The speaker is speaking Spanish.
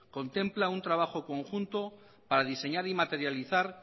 contempla un trabajo conjunto para diseñar y materializar